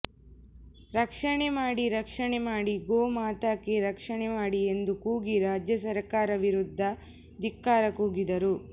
ರಕ್ಷಣೆ ಮಾಡಿ ರಕ್ಷಣೆ ಮಾಡಿ ಗೋ ಮಾತಾಕೀ ರಕ್ಷಣೆ ಮಾಡಿ ಎಂದು ಕೂಗಿ ರಾಜ್ಯ ಸರ್ಕಾರ ವಿರುದ್ಧ ದಿಕ್ಕಾರ ಕೂಗಿದರು